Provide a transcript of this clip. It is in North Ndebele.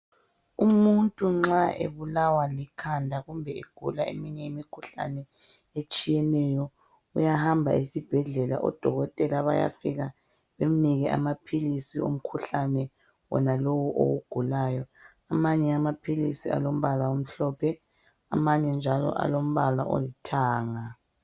Umuntu nxa ebulawa likhanda kumbe egula eminye imikhuhlane etshiyeneyo. Uyahamba esibhedlela odokotela bayafika bamnike amaphilisi omkhulane wonalowo owugulayo. Amanye amaphilisi alombala amhlophe amanye njalo alombala olithanga.